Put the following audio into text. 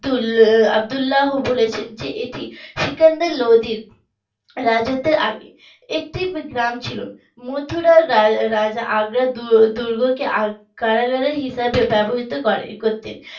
আব্দুল্লাহ বলেছেন যে এটি সিকান্দার লোদী রাজাদের আগে একটি গ্রাম ছিল মথুরার রা রাজা দু দুর্গকে কারাগার হিসেবে ব্যবহৃত করে করতেন।